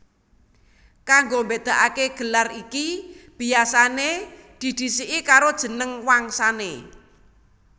Kanggo mbédakaké gelar iki biasané didhisiki karo jeneng wangsané